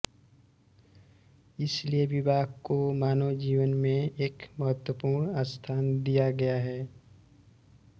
इसलिये विवाह को मानव जीवन में एक महत्वपूर्ण स्थान दिया गया है